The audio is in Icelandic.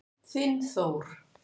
Þinn Þór.